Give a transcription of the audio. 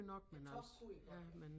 Æ tog kunne i godt